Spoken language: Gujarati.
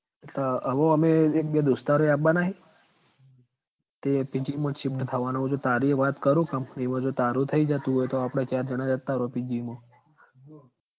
અવ ઓમય એક બે દોસ્તારોય આવવાના હી તે PG માં shift થવાનો હુ તો તારીય વાત કરુ company મા જો તારું થઇ જતું હોય તો આપડ ચાર જણા જતા રહું PG માં